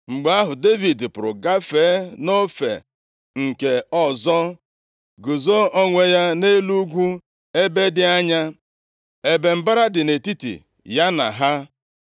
Mgbe ahụ, Devid pụrụ gafee nʼofe nke ọzọ, guzo onwe ya nʼelu ugwu ebe dị anya, ebe mbara dị nʼetiti ya na ha.